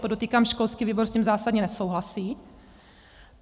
Podotýkám, školský výbor s tím zásadně nesouhlasí.